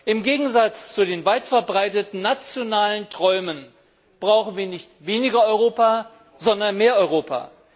Im Gegensatz zu den weit verbreiteten nationalen Träumen brauchen wir nicht weniger Europa, sondern mehr Europa!